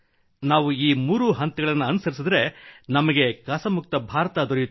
ನಾವು ಈ ಮೂರು ಹಂತಗಳನ್ನು ಅನುಸರಿಸಿದರೆ ನಮಗೆ ಕಸಮುಕ್ತ ಭಾರತ ದೊರೆಯುತ್ತದೆ